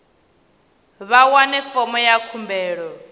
vha wane fomo ya khumbelo